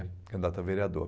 Candidato a vereador.